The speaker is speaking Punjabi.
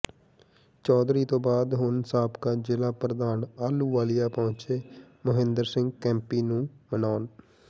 ਚੌਧਰੀ ਤੋਂ ਬਾਅਦ ਹੁਣ ਸਾਬਕਾ ਜ਼ਿਲ੍ਹਾ ਪ੍ਰਧਾਨ ਆਹਲੂਵਾਲੀਆ ਪਹੁੰਚੇ ਮੋਹਿੰਦਰ ਸਿੰਘ ਕੇਪੀ ਨੂੰ ਮਨਾਉਣ